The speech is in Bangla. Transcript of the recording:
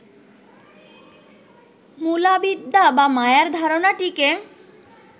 মূলাবিদ্যা বা মায়ার ধারণাটিকে